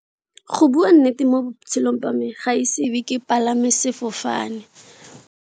Go bua nnete mo botshelong ba me ga ise ebe ke pagame sefofane.